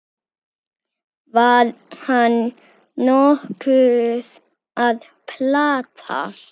Var hann nokkuð að plata?